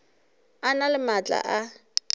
a na le maatla a